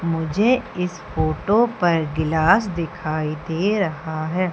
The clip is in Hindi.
मुझे इस फोटो पर गिलास दिखाई दे रहा है।